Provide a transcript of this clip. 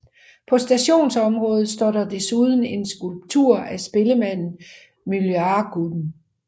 På stationsområdet står der desuden en skulptur af spillemanden Myllarguten